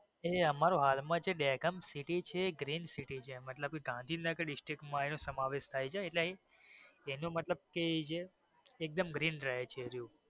એટલે એ અમારું જે હાલ માં દહેગામ city છે એ green city છે મતલબ એ ગાંધીનગર district માં એનો સમાવેશ થાય છે એટલે એનો મતલબ કે એ જે એ એકદમ green રહે છે.